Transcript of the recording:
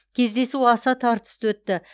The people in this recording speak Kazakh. кездесу аса тартысты өтті